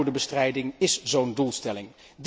Armoedebestrijding is zo'n doelstelling.